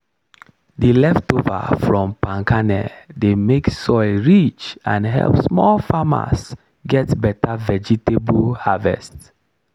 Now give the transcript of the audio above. the leftover from palm kernel dey make soil rich and help small farmers get better vegetable harvest.